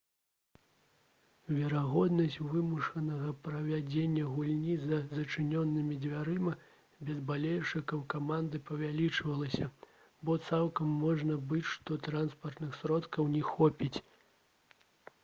верагоднасць вымушанага правядзення гульні за зачыненымі дзвярыма без балельшчыкаў каманды павялічвалася бо цалкам можа быць што транспартных сродкаў не хопіць